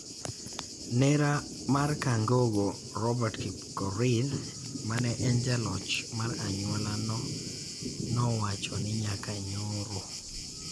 Nera mar Kangogo, Robert Kipkorir, mane en jaloch mar anyuola no, nowacho ni nyaka nyoro,